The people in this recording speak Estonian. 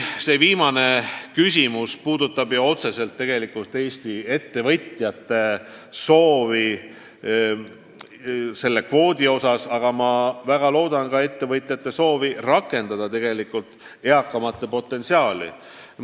" See viimane küsimus puudutab ehk eelkõige Eesti ettevõtjate soovi sisserändekvooti suurendada, aga ma väga loodan, et ettevõtjad tahavad siiski ka meie eakamate potentsiaali rakendada.